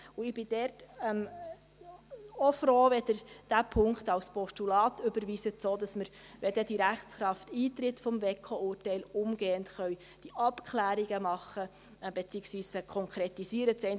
Ich bin auch froh, wenn Sie diesen Punkt als Postulat überweisen, sodass wir, wenn dann die Rechtskraft des WEKO-Urteils eintritt, diese Abklärungen umgehend machen beziehungsweise dann konkretisieren können.